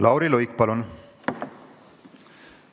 Lauri Luik, palun!